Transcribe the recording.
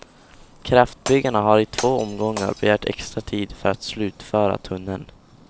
Kraftbyggarna har i två omgångar begärt extra tid för att slutföra tunneln.